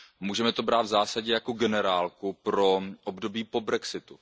Můžeme to brát v zásadě jako generálku pro období po brexitu.